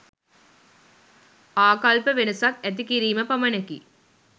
ආකල්ප වෙනසක් ඇති කිරීම පමණකි.